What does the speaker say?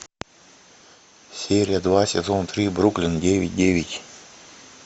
серия два сезон три бруклин девять девять